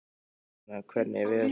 Marlena, hvernig er veðurspáin?